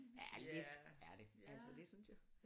Ja lidt er det altså det synes jeg